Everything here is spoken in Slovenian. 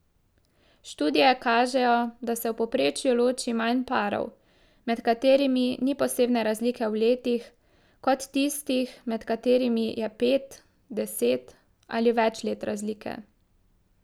Študije kažejo, da se v povprečju loči manj parov, med katerimi ni posebne razlike v letih, kot tistih, med katerimi je pet, deset ali več let razlike.